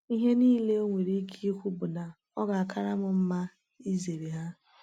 Ihe niile o nwere ike ikwu bụ na ọ ga-akara m mma izere ha.